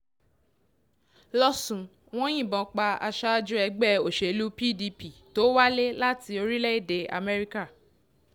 lọ́sùn wọn yìnbọn pa aṣáájú ẹgbẹ́ òṣèlú pdp tó wálé láti orílẹ̀‐èdè amẹ́ríkà